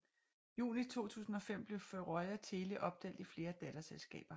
Juni 2005 blev Føroya Tele opdelt i flere datterselskaber